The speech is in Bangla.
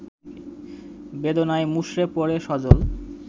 বেদনায় মুষঢ়ে পড়ে সজল